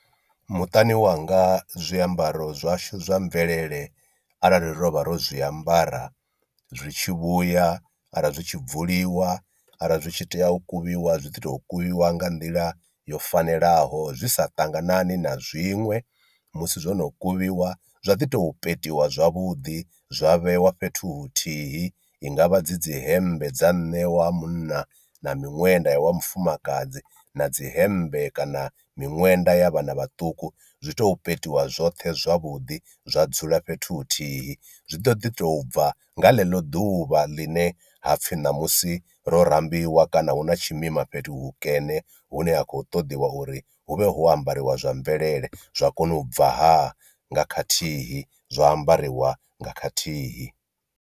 Muṱani wanga zwiambaro zwashu zwa mvelele arali ro vha ro zwiambara zwi tshi vhuya arali zwi tshi bvuliwa arali zwi tshi tea u kuvhiwa zwi ḓi to kuvhiwa nga nḓila yo fanelaho zwi sa ṱanganane na zwiṅwe, musi zwono kuvhiwa zwa ḓi tou petiwa zwavhuḓi zwa vhewa fhethu huthihi, i ngavha dzi dzi hembe dza nṋe wa munna na miṅwenda ya wa mufumakadzi na dzi hemmbe kana miṅwenda ya vhana vhaṱuku zwi tou petiwa zwoṱhe zwavhuḓi zwa dzula fhethu huthihi. Zwi ḓo ḓi tou bva nga ḽeḽo ḓuvha ḽine ha pfhi ṋamusi ro rambiwa kana hu na tshimima fhethu hukene hune ha khou ṱoḓiwa uri hu vhe ho ambariwa zwa mvelele zwa kona u bva ha nga khathihi zwa ambariwa nga khathihi.